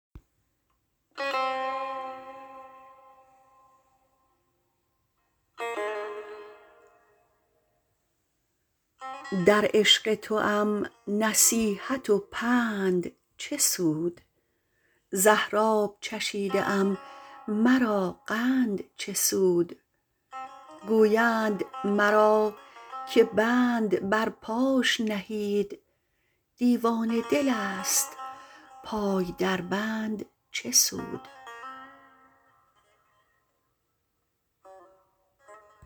در عشق توام نصیحت و پند چه سود زهراب چشیده ام مرا قند چه سود گویند مرا که بند بر پاش نهید دیوانه دلست پای در بند چه سود